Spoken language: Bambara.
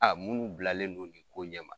Aa munnu bilalen do nin ko ɲɛ ma